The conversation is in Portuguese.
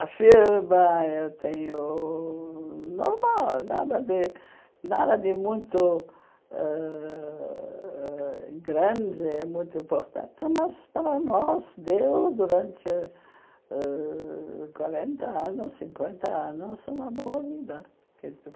A firma eu tenho ãh normal, nada de nada de muito ãh ãh grande, muito importante, mas para nós deu, durante ãh quarenta anos, cinquenta anos, uma boa vida.